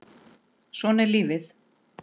Svona er lífið!